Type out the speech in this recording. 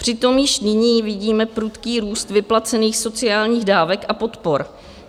Přitom již nyní vidíme prudký růst vyplacených sociálních dávek a podpor.